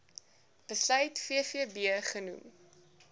besluit vvb genoem